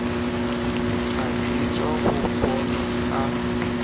a jwetswa o bonwa ka